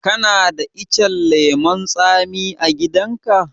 Kana da icen lemun tsami a gidan ka?